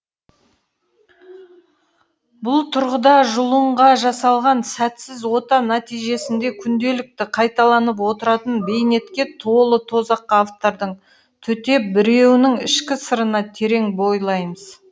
бұл тұрғыда жұлынға жасалған сәтсіз ота нәтижесінде күнделікті қайталанып отыратын бейнетке толы тозаққа автордың төтеп беруінің ішкі сырына терең бойлаймыз